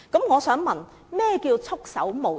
我想問局長，何謂"束手無策"？